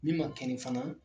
Min man kɛnɛ fana